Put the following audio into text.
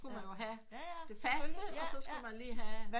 Skulle man jo have det faste og så skulle man lige have